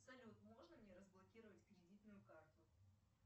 салют можно мне разблокировать кредитную карту